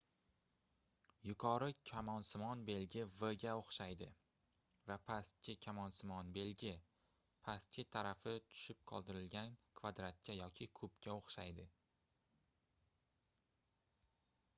yuqori kamonsimon belgi v ga oʻxshaydi va pastki kamonsimon belgi pastki tarafi tushirib qoldirilgan kvadratga yoki kubga oʻxshaydi